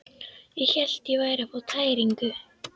Ég hélt ég væri að fá tæringu.